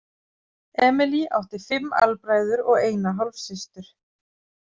Émilie átti fimm albræður og eina hálfsystur.